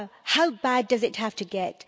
How bad does it have to get?